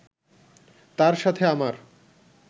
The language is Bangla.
তার সাথে আমার